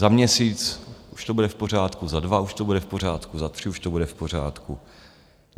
Za měsíc už to bude v pořádku, za dva už to bude v pořádku, za tři už to bude v pořádku.